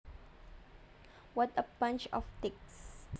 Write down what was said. What a bunch of dicks